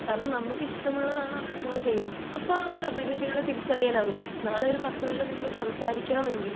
കാരണം നമുക്കിഷ്ടമുള്ളതാണ് നമ്മൾ അവടെ ചെയ്യാ അപ്പൊ നമുക് അഭിരുചികളെ തിരിച്ചതറിയാൻ ആവും നാളെ ഒരു പത്തുപേരുടെ മുമ്പിൽ സംസാരിക്കണമെങ്കിൽ